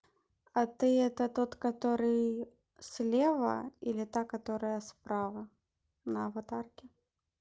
а ты это тот который слева или та которая справа на аватарке